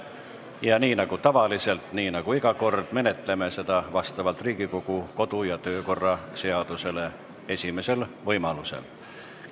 Ja nii nagu tavaliselt, nii nagu iga kord, menetleme neid vastavalt Riigikogu kodu- ja töökorra seadusele esimesel võimalusel.